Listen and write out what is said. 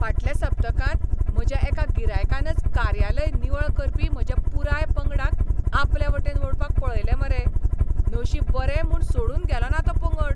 फाटल्या सप्तकांत म्हज्या एका गिरायकानच कार्यालय निवळ करपी म्हज्या पुराय पंगडाक आपलेवटेन ओडपाक पळयलें मरे. नशीब बरें म्हूण सोडून गेलोना तो पंगड.